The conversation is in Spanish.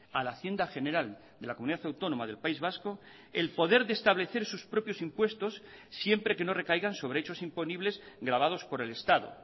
a la hacienda general de la comunidad autónoma del país vasco el poder de establecer sus propios impuestos siempre que no recaigan sobre hechos imponibles gravados por el estado